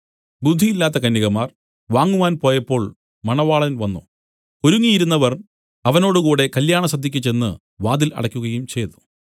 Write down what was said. ബുദ്ധിയില്ലാത്ത കന്യകമാർ വാങ്ങുവാൻ പോയപ്പോൾ മണവാളൻ വന്നു ഒരുങ്ങിയിരുന്നവർ അവനോടുകൂടെ കല്യാണസദ്യയ്ക്ക് ചെന്ന് വാതിൽ അടയ്ക്കുകയും ചെയ്തു